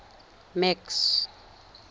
max